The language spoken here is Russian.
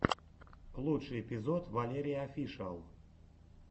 лучший эпизод валерияофишиал